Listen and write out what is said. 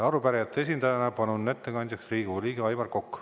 Arupärijate esindajana palun ettekandjaks Riigikogu liikme Aivar Koka.